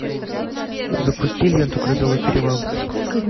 запусти ленту грозовой перевал